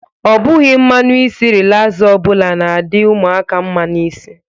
Ọ bụghi mmanụ isi relasa ọbụla na-adị ụmụaka mma n'isi.